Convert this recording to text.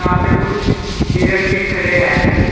पे कुछ हिरण भी खड़े हैं।